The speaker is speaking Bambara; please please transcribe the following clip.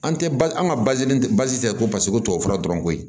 An tɛ ba an ka ko paseke ko tubabu fura dɔrɔn koyi